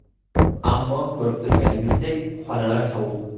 Ammo ko‘rib turganingizdek, xonalar sovuq.